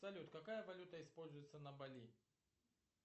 салют какая валюта используется на бали